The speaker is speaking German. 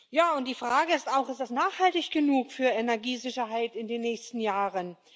Ja, und die Frage ist auch Ist das nachhaltig genug für Energiesicherheit in den nächsten Jahren?